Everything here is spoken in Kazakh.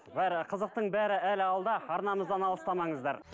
бәрі қызықтың бәрі әлі алда арнамыздан алыстамаңыздар